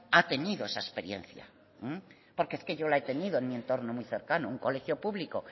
ha tenido esa experiencia porque es que yo la he tenido en mi entorno muy cercano un colegio público